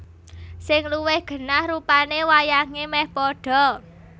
Sing luwih genah rupane wayange meh padha